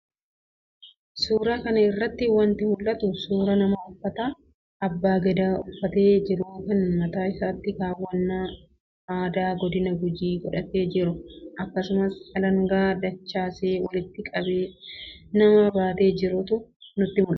Suuraa kana irraa wanti mul'atu, suuraa nama uffata abbaa gadaa uffatee jiruu kan mataa isaattis keewwannaa aadaa godina Gujii godhatee jiruu akkasumas alangaa dachaasee walitti qabee nama baatee jirutu natti mul'ata.